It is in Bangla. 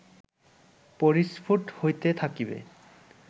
পরিস্ফুট হইতে থাকিবে